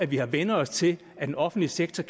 vi har vænnet os til at den offentlige sektor